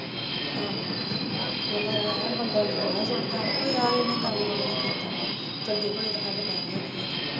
ਆਹੋ ਵੀ ਹੈਂ ਬੰਦਾ ਗੋਹਾ ਸੁੱਟਦਾ ਵਾ ਓਹ ਯਾਰ ਇਹਨੇ ਕੰਮ ਕੁਮ ਨਈਂ ਕੀਤਾ ਵਾ ਚੰਗੇ ਭਲਾ ਤਾਂ ਹੱਡ ਪੈਰ ਹੈਗੇ ਆ।